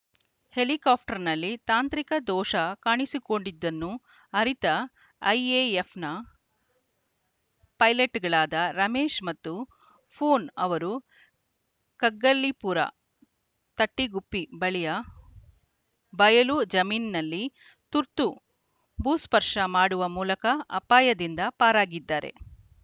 helicopter ನಲ್ಲಿ ತಾಂತ್ರಿಕ ದೋಷ ಕಾಣಿಸಿಕೊಂಡಿದ್ದನ್ನು ಅರಿತ ಐಎಎಫ್‌ನ ಪೈಲೆಟ್‌ಗಳಾದ ರಮೇಶ್‌ ಮತ್ತು ಪೂನ್‌ ಅವರು ಕಗ್ಗಲೀಪುರ ತಟ್ಟಿಗುಪ್ಪಿ ಬಳಿಯ ಬಯಲು ಜಮೀನ್ ನಲ್ಲಿ ತುರ್ತು ಭೂಸ್ಪರ್ಶ ಮಾಡುವ ಮೂಲಕ ಅಪಾಯದಿಂದ ಪಾರಾಗಿದ್ದಾರೆ